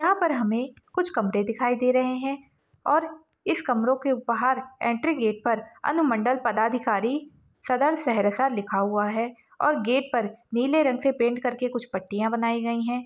यहां पर हमे कुछ कमरे दिखाई दे रहे है और इस कमरों के बाहर एंट्री गेट पर अनुमंडल पदाधिकारी सदर सहरसा लिखा हुआ है और गेट पर नीले रंग से पेंट करके कुछ पट्टिया बनाई गई है।